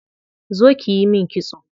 Zo kiyi min kitso.